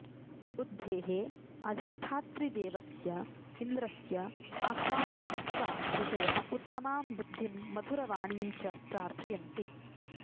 बुद्धेः अधिष्ठातृदेवस्य इन्द्रस्य आह्वानं कृत्वा ऋषयः उत्तमां बुद्धिं मधुरवाणीं च प्रार्थयन्ति